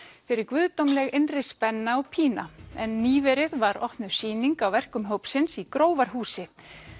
fyrir guðdómleg innri spenna og pína en nýverið var opnuð sýning á verkum hópsins í Grófarhúsi